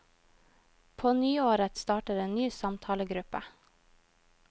På nyåret starter en ny samtalegruppe.